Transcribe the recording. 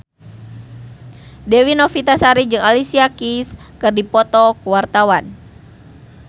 Dewi Novitasari jeung Alicia Keys keur dipoto ku wartawan